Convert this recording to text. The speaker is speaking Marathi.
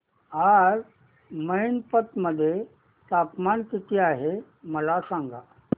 आज मैनपत मध्ये तापमान किती आहे मला सांगा